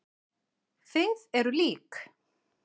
Þið eruð lík.